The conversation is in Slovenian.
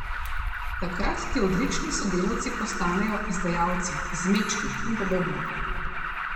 Takrat ti odlični sodelavci postanejo izdajalci, izmečki in podobno.